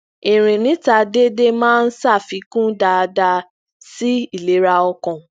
irin nita dedé máa ń ṣafikun daada si ilera ọkan